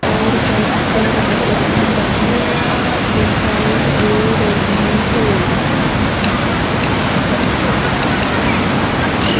और फर्श पर डिजाइन बनी दिखाई दे रही है।